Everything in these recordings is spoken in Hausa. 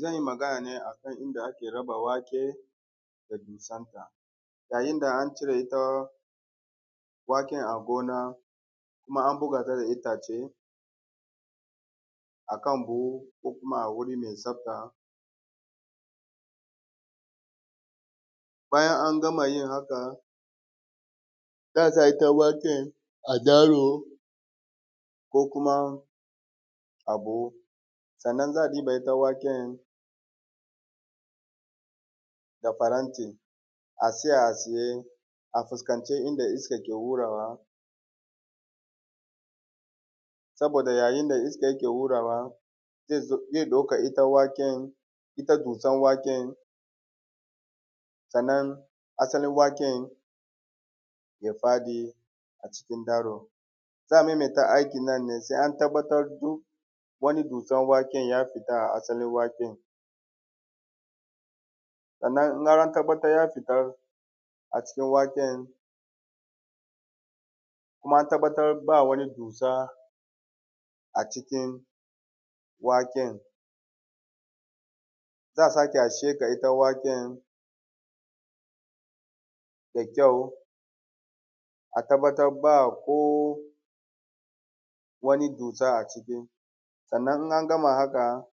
Zan yi magana ne a kan inda ake raba wake da dusanta. Yayin da an cire ita waken a gona, kuma an buga ta da itace a kan buhu ko kuma wuri mai tsafta. Bayan an gama yin haka, za a sa ita waken a daro ko kuma a buhu, sannan za a ɗiba ita waken da faranti, a tsaya a tsaye, a fuskanci inda iskan ke hurawa, saboda yayin da iska yake hurawa, zai ɗauka ita waken, ita dusan waken, sannan asalin waken ya faɗi a cikin daro. Za a maimaita aikin nan ne sai an tabbatar duk wannan dusan waken ya fita a asalin waken. Sannan in an tabbatar ya fita, a cikin waken kuma an tabbatar ba wani dusa a cikin waken, za a sake a sheƙa ita waken da kyau, a tabbatar ba ko wani dusa a ciki. Sannan in an gama haka,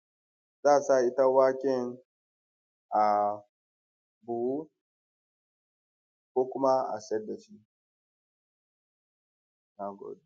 za a sa ita waken a buhu ko kuma a siyar da shi. Na gode.